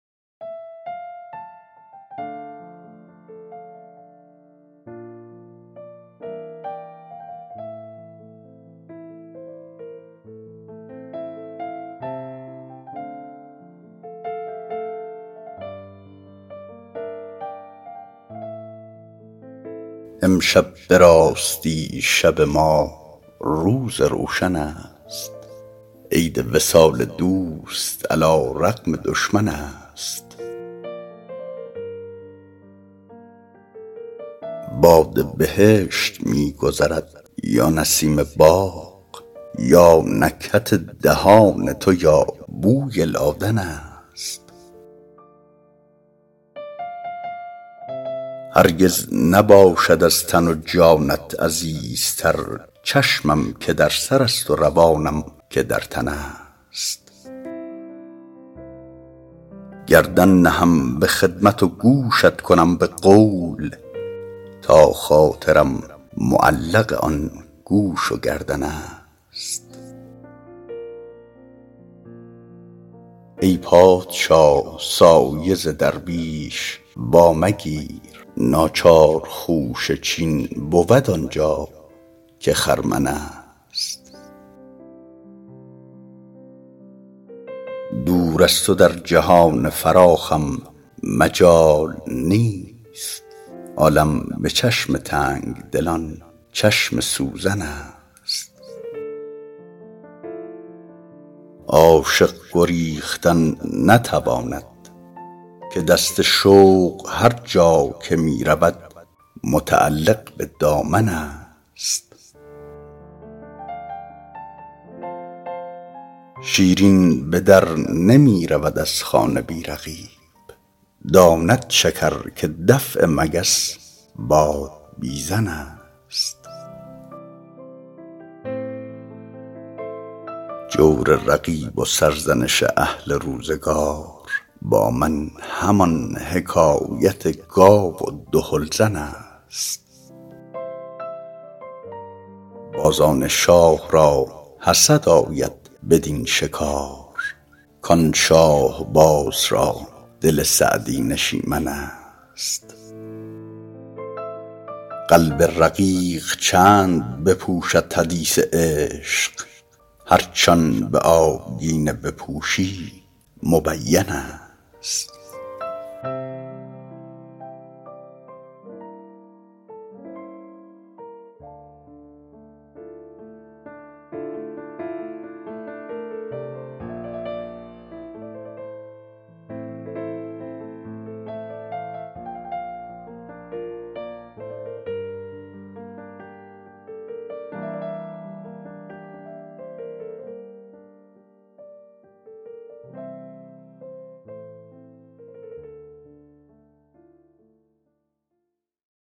امشب به راستی شب ما روز روشن است عید وصال دوست علی رغم دشمن است باد بهشت می گذرد یا نسیم باغ یا نکهت دهان تو یا بوی لادن است هرگز نباشد از تن و جانت عزیزتر چشمم که در سرست و روانم که در تن است گردن نهم به خدمت و گوشت کنم به قول تا خاطرم معلق آن گوش و گردن است ای پادشاه سایه ز درویش وامگیر ناچار خوشه چین بود آن جا که خرمن است دور از تو در جهان فراخم مجال نیست عالم به چشم تنگ دلان چشم سوزن است عاشق گریختن نتواند که دست شوق هر جا که می رود متعلق به دامن است شیرین به در نمی رود از خانه بی رقیب داند شکر که دفع مگس بادبیزن است جور رقیب و سرزنش اهل روزگار با من همان حکایت گاو دهل زن است بازان شاه را حسد آید بدین شکار کان شاهباز را دل سعدی نشیمن است قلب رقیق چند بپوشد حدیث عشق هرچ آن به آبگینه بپوشی مبین است